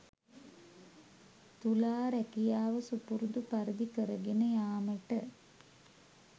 තුලා රැකියාව සුපුරුදු පරිදි කරගෙන යාමට